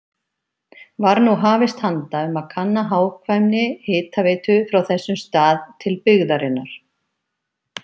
Var nú hafist handa um að kanna hagkvæmni hitaveitu frá þessum stað til byggðarinnar.